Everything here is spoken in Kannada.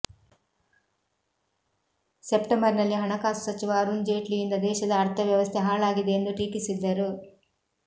ಸೆಪ್ಟೆಂಬರ್ ನಲ್ಲಿ ಹಣಕಾಸು ಸಚಿವ ಅರುಣ್ ಜೇಟ್ಲಿಯಿಂದ ದೇಶದ ಅರ್ಥವ್ಯವಸ್ಥೆ ಹಾಳಾಗಿದೆ ಎಂದು ಟೀಕಿಸಿದ್ದರು